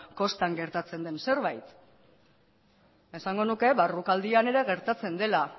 kostan gertatzen den zerbait esango nuke barrualdean ere gertatzen dela